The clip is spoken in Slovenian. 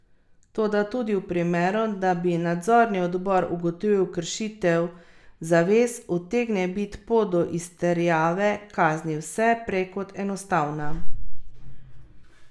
Toda tudi v primeru, da bi nadzorni odbor ugotovil kršitve zavez, utegne biti pot do izterjave kazni vse prej kot enostavna.